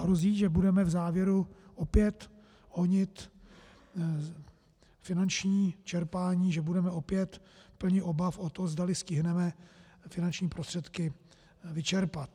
Hrozí, že budeme v závěru opět honit finanční čerpání, že budeme opět plni obav o to, zdali stihneme finanční prostředky vyčerpat.